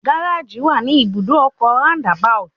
Gáréjì wà ní Ibùdó ọkọ̀ Round about